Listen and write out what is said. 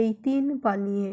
এই তিন পানীয়ে